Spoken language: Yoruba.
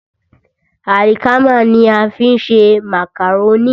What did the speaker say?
Àlìkámà ní a fi ń ṣe màkàrónì.